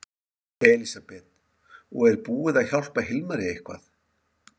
Elísabet: Og er búið að hjálpa Hilmari eitthvað?